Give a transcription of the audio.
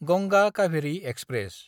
Ganga Kaveri express